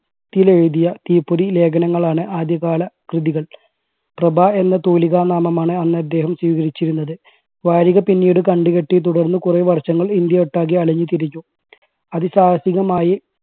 ത്തിൽ എഴുതിയ തീപ്പൊരി ലേഖനങ്ങളാണ് ആദ്യകാല കൃതികൾ പ്രഭ എന്ന തൂലികാ നാമമാണ് അന്ന് അദ്ദേഹം സ്വീകരിച്ചിരുന്നത്. വാരിക പിന്നീട് കണ്ട് കെട്ടി തുടർന്ന് കുറെ വർഷങ്ങൾ ഇന്ത്യ ഒട്ടാകെ അലഞ്ഞ് തിരിഞ്ഞു അതിസാഹസികമായി